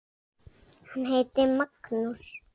Hann heitir Magnús.